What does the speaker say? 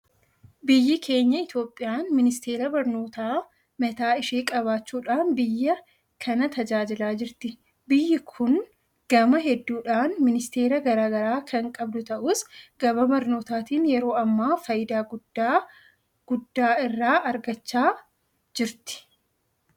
Biyyi keenya Itoophiyaan ministeera barnootaa mataa ishee qabaachuudhaan biyya kana tajaajilaa jirti. Biyyi kun gama hedduudhaan ministeera garaa garaa kan qabdu ta'us gama barnootaatiin yeroo ammaa faayidaa guddaa guddaa irraa argachaa jirti.